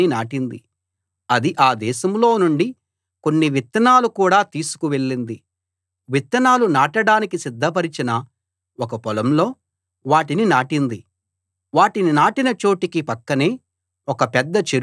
అది ఆ దేశంలో నుండి కొన్ని విత్తనాలు కూడా తీసుకు వెళ్ళింది విత్తనాలు నాటడానికి సిద్ధపరిచిన ఒక పొలంలో వాటిని నాటింది వాటిని నాటిన చోటికి పక్కనే ఒక పెద్ద చెరువు ఉంది